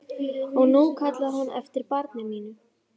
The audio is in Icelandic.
Og nú kallaði hún eftir barni mínu.